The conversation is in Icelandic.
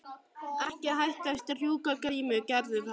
Ekki hætta að strjúka Grímur gerðu það.